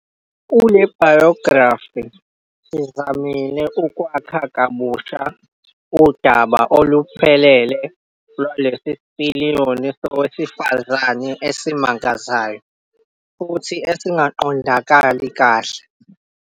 Kule biography, sizamile ukwakha kabusha udaba oluphelele lwalesi sipiliyoni sowesifazane esimangazayo futhi esingaqondakali kahle."